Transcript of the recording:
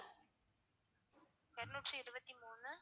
இரநூற்றி இருவத்தி மூணு